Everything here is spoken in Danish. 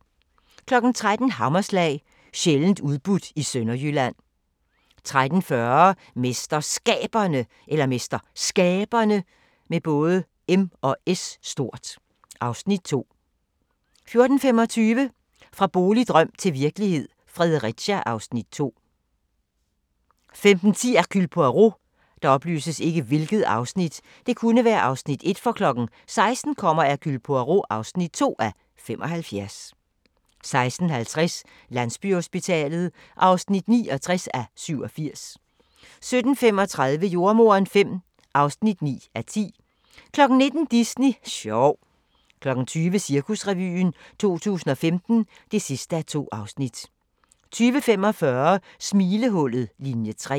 13:00: Hammerslag – sjældent udbudt i Sønderjylland 13:40: MesterSkaberne (Afs. 2) 14:25: Fra boligdrøm til virkelighed – Fredericia (Afs. 2) 15:10: Hercule Poirot 16:00: Hercule Poirot (2:75) 16:50: Landsbyhospitalet (69:87) 17:35: Jordemoderen V (9:10) 19:00: Disney sjov 20:00: Cirkusrevyen 2015 (2:2) 20:45: Smilehullet – Linie 3